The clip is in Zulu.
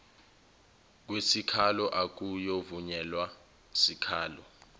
kwesikhalo akuyovunyelwa sikhalo